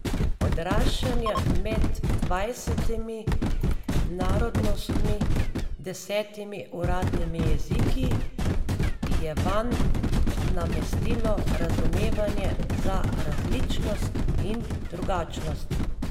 Odraščanje med dvajsetimi narodnostmi, desetimi uradnimi jeziki je vanj namestilo razumevanje za različnost in drugačnost.